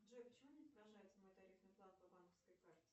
джой почему не отображается мой тарифный план по банковской карте